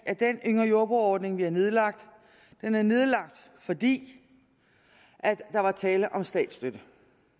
at den yngre jordbrugere ordning vi har nedlagt er nedlagt fordi der var tale om statsstøtte